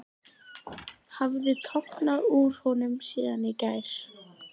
Ég held að það sé mjög sárt.